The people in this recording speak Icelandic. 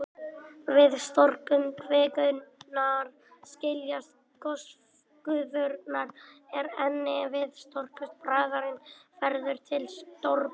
Við storknun kvikunnar skiljast gosgufurnar úr henni, en við storknun bráðarinnar verður til storkuberg.